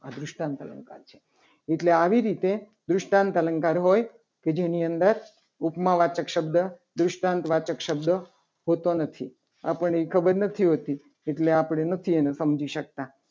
આ દૃષ્ટાંત અલંકાર છે. એટલે આવી રીતે દૃષ્ટાંત અલંકાર હોય. કે જેની અંદર ઉપમાવાચક શબ્દ સુશાંતવાચક શબ્દ પૂરતો નથી. આપની ખબર નથી. હોતી. એટલે આપણે નથી એને સમજી શકતા.